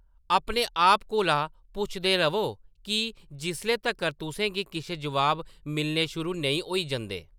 अपने आप कोला पुछदे र'वो, "की?," जिसले तक्कर तु'सें गी किश जवाब मिलने शुरू नेईं होई जंदे।